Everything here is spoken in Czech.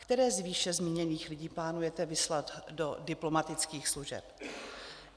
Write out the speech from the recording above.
Které z výše zmíněných lidí plánujete vyslat do diplomatických služeb?